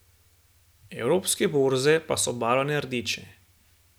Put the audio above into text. Evropske borze pa so obarvane rdeče.